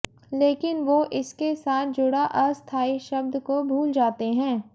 लेकिन वो इसके साथ जुड़ा अस्थाई शब्द को भूल जाते हैं